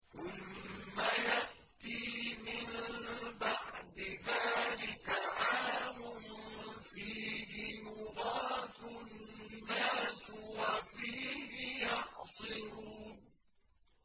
ثُمَّ يَأْتِي مِن بَعْدِ ذَٰلِكَ عَامٌ فِيهِ يُغَاثُ النَّاسُ وَفِيهِ يَعْصِرُونَ